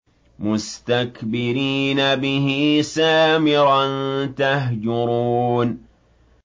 مُسْتَكْبِرِينَ بِهِ سَامِرًا تَهْجُرُونَ